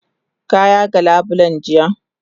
Ka yaga labulen jiya?